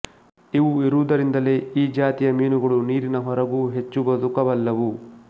ಇವು ಇರುವುದರಿಂದಲೇ ಈ ಜಾತಿಯ ಮೀನುಗಳು ನೀರಿನ ಹೊರಗೂ ಹೆಚ್ಚು ಬದುಕಬಲ್ಲುವು